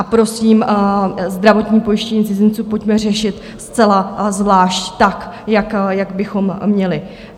A prosím, zdravotní pojištění cizinců pojďme řešit zcela zvlášť tak, jak bychom měli.